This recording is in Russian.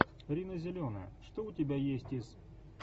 рина зеленая что у тебя есть из